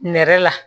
Nɛrɛ la